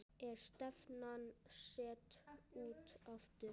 Er stefnan sett út aftur?